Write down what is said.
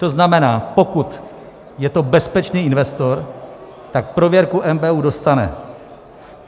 To znamená, pokud je to bezpečný investor, tak prověrku NBÚ dostane.